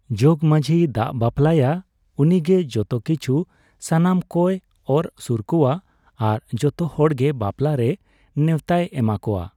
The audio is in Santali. ᱡᱚᱜᱢᱟᱸᱡᱷᱤᱭ ᱫᱟᱜ ᱵᱟᱯᱞᱟᱭᱟ ᱩᱱᱤᱜᱮ ᱡᱚᱛᱚ ᱠᱤᱪᱷᱩ ᱥᱟᱱᱟᱢ ᱠᱚᱭ ᱚᱨ ᱥᱩᱨᱠᱚᱣᱟ ᱟᱨ ᱡᱚᱛᱚ ᱦᱚᱲᱜᱮ ᱵᱟᱯᱞᱟᱨᱮ ᱱᱮᱣᱛᱟᱭ ᱮᱢᱟᱠᱚᱣᱟ